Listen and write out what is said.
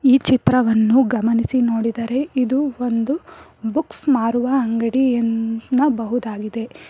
ಈ ಚಿತ್ರವನ್ನು ಗಮನಿಸಿ ನೋಡಿದರೆ ಇದು ಒಂದು ಬುಕ್ಸ್ ಮಾರುವ ಅಂಗಡಿಯನ್ನಬಹುದಾಗಿದೆ.